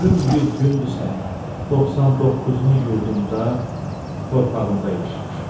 Ömrüm 100 gündürsə, 99-unu yurdumda, torpağımda yaşamışam.